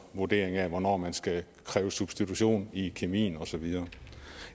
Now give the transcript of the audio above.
vurderingen af hvornår man skal kræve substitution i kemien og så videre